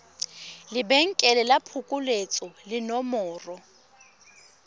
lebenkele la phokoletso le nomoro